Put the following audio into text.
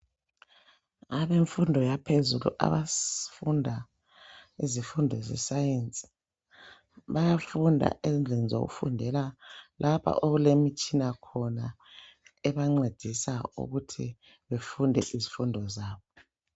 Abemfundo yaphezulu abafunda izifundo zeScience bayafunda endlini zokufundela lapha okulemitshina khona ebancedisa ukuthi bafunde izifundo zabo.